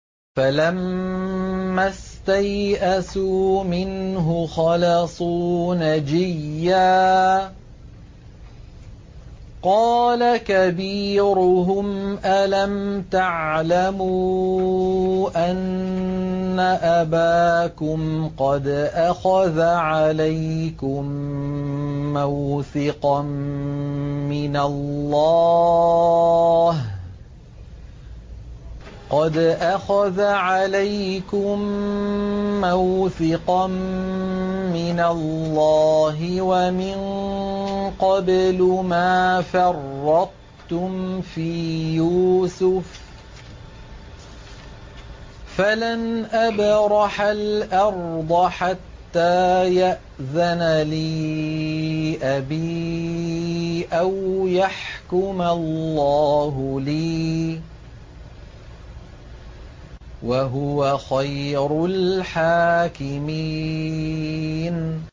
فَلَمَّا اسْتَيْأَسُوا مِنْهُ خَلَصُوا نَجِيًّا ۖ قَالَ كَبِيرُهُمْ أَلَمْ تَعْلَمُوا أَنَّ أَبَاكُمْ قَدْ أَخَذَ عَلَيْكُم مَّوْثِقًا مِّنَ اللَّهِ وَمِن قَبْلُ مَا فَرَّطتُمْ فِي يُوسُفَ ۖ فَلَنْ أَبْرَحَ الْأَرْضَ حَتَّىٰ يَأْذَنَ لِي أَبِي أَوْ يَحْكُمَ اللَّهُ لِي ۖ وَهُوَ خَيْرُ الْحَاكِمِينَ